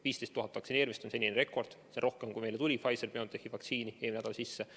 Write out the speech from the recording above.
15 000 vaktsineerimist on senine rekord, seda on rohkem, kui meile tuli Pfizer-BioNTechi vaktsiini eelmine nädal sisse.